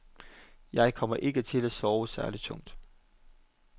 Jeg kommer ikke til at sove særlig tungt.